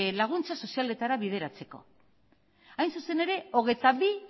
laguntza sozialetara bideratzeko hain zuzen ere hogeita bi